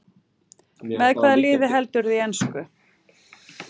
Með hvaða liði heldurðu í ensku?